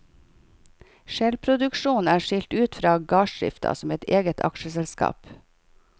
Skjellproduksjonen er skilt ut fra gardsdrifta som et eget aksjeselskap.